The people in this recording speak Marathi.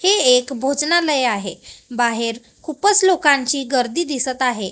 हे एक भोजनालय आहे बाहेर खूपच लोकांची गर्दी दिसतं आहे.